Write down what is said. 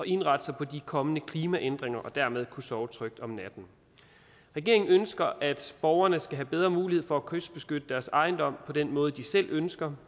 indrette sig på de kommende klimaændringer og dermed kunne sove trygt om natten regeringen ønsker at borgerne skal have bedre mulighed for at kystbeskytte deres ejendom på den måde de selv ønsker